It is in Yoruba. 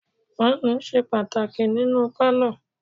Fáànù ṣe pàtàkì nínú pálọ̀.